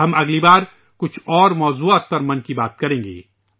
ہم اگلی بار کچھ دوسرے موضوعات پر 'من کی بات' کریں گے